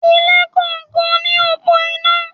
Ilé kọ̀ọ̀kan ní òpó iná.